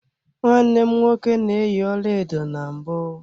Nwanne m nwoke na-eyi ọlaedo na mbụ.